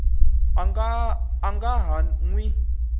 a nga ha n wi